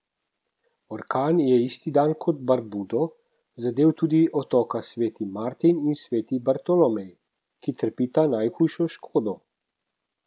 Orkan je isti dan kot Barbudo zadel tudi otoka Sveti Martin in Sveti Bartolomej, ki trpita najhujšo škodo.